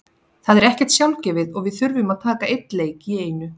Það er ekkert sjálfgefið og við þurfum að taka einn leik í einu.